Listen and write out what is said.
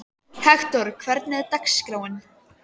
Hektor, hvernig er dagskráin?